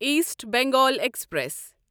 East Bengal express